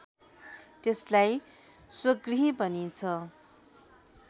त्यसलाई स्वगृही भनिन्छ